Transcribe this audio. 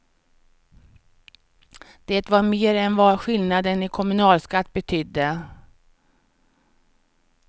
Det var mer än vad skillnaden i kommunalskatt betydde.